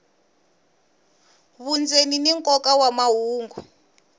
vundzeni ni nkoka wa mahungu